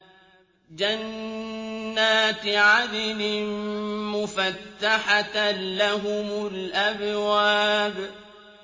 جَنَّاتِ عَدْنٍ مُّفَتَّحَةً لَّهُمُ الْأَبْوَابُ